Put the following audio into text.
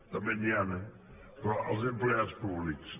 també n’hi han eh però els empleats públics